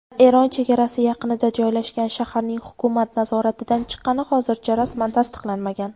Eron chegarasi yaqinida joylashgan shaharning hukumat nazoratidan chiqqani hozircha rasman tasdiqlanmagan.